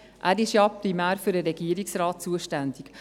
Denn er ist primär für den Regierungsrat zuständig.